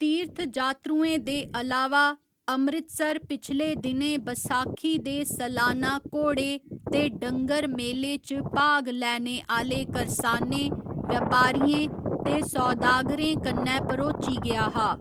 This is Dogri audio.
तीर्थजात्तरूएं दे अलावा, अमृतसर पिछले दिनें बसाखी दे सलाना घोड़े ते डंगर मेले च भाग लैने आह्‌ले करसाने, व्यापारियें ते सौदागरें कन्नै भरोची गेआ हा।